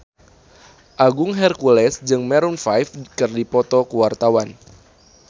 Agung Hercules jeung Maroon 5 keur dipoto ku wartawan